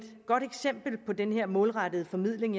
godt eksempel på den her målrettede formidling